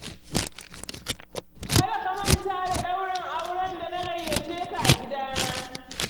Kada ka manta da ɗaurin auren da na gayyace ka a gidana.